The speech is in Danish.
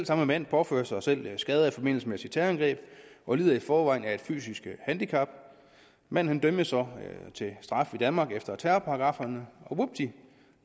samme mand påfører sig selv skader i forbindelse med sit terrorangreb og lider i forvejen af fysiske handicap manden dømmes så til straf i danmark efter terrorparagrafferne og vupti